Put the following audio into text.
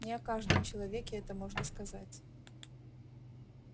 не о каждом человеке это можно сказать